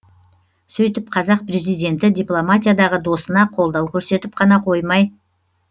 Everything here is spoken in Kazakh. сөйтіп қазақ президенті дипломатиядағы досына қолдау көрсетіп қана қоймай